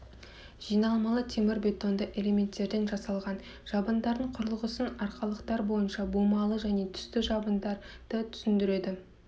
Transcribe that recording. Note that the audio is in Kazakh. жиналмалы темірбетонды элементтерден жасалған жабындардың құрылғысын арқалықтар бойынша бумалы және түсті жабындарды түсіндіреді